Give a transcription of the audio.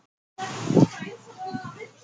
Honum þykir vatnið fallegt sagði ég.